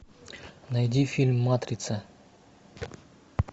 найди фильм матрица